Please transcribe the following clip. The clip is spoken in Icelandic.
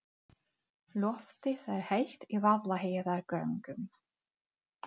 Loftið er heitt í Vaðlaheiðargöngum.